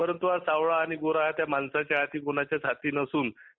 परंतू सावळ्या आणि गोरा हा त्या माणसाच्या हाती कोणाच्या हाती नसून ते